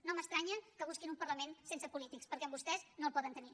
no m’estranya que busquin un parlament sense polítics perquè amb vostès no el poden tenir